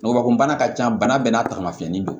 Ngɔbɔkunbana ka ca bana bɛɛ n'a taamasiyeni don